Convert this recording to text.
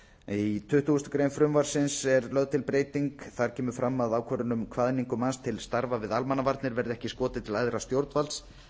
í tuttugustu greinar frumvarpsins er lögð er til breyting þar kemur fram að ákvörðun um kvaðningu manns til starfa við almannavarnir verði ekki skotið til æðra stjórnvalds